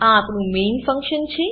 આ આપણું main main function છે